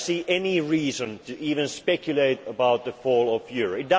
of Europe. I do not see any reason to even speculate about the